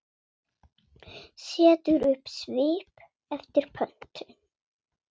Setur upp svip eftir pöntun.